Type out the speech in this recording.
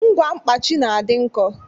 Ngwa mkpaji na-adị nkọ